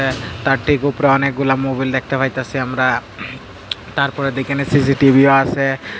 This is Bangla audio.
তার ঠিক উপরে অনেকগুলা মোবিল দেখতে পাইতাসি আমরা তারপরে দেখি নিসি টিভিও আসে।